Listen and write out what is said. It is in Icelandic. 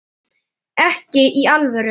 Ekki í alvöru.